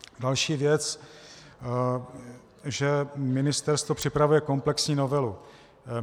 Další věc, že ministerstvo připravuje komplexní novelu.